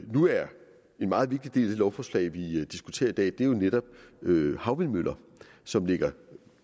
nu er en meget vigtig del af det lovforslag vi diskuterer i dag netop havvindmøller som ligger